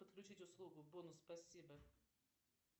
подключить услугу бонус спасибо